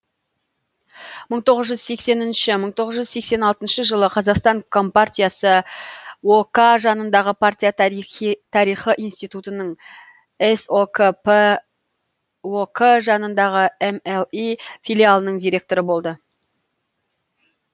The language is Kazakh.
мың тоғыз жүз сексенінші мың тоғыз жүз сексен алтыншы жылы қазақстан компартиясы ок жанындағы партия тарихы институтынының сокп ок жанындағы мли филиалының директоры болды